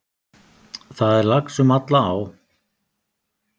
Það er lax um alla á.